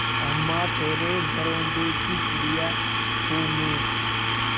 अम्मा तेरे घरौंदे की चिड़िया हूँ मैं